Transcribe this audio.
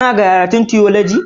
Kana karatun tiyoloji?